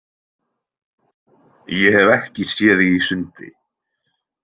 Ég hef ekki séð þig í sundi.